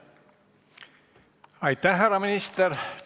Aitäh, härra minister!